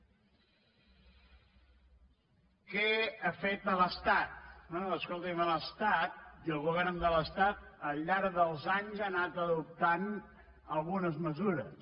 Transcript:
què ha fet l’estat bé escolti’m l’estat el govern de l’estat al llarg dels anys ha anat adoptant algunes mesures